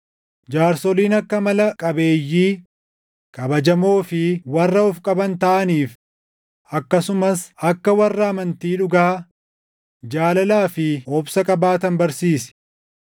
Jaarsoliin akka amala qabeeyyii, kabajamoo fi warra of qaban taʼaniif, akkasumas akka warra amantii dhugaa, jaalalaa fi obsa qabaatan barsiisi.